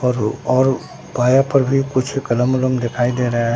औरो और पाया पर भी कुछ कलम वलम दिख दे रहा--